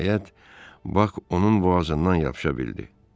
Nəhayət, Bak onun boğazından yapışa bildi.